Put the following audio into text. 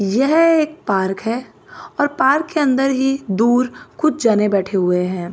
यह एक पार्क है और पार्क के अंदर ही दूर कुछ जने बैठे हुए हैं।